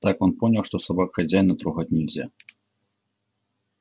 так он понял что собак хозяина трогать нельзя